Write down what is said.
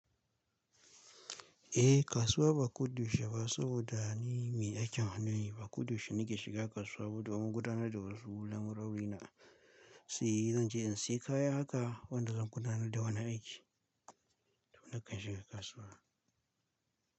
Eh kasuwa ba kuɗushe ba saboda ni mai aikin hannu ne, ba kuɗushe nike shiga kasuwa ba domin gudanar da wasu lambu rauni na. Sai zanje in siya kaya haka wanda zan gudanar da wani aiki, to nakan shiga kasuwa.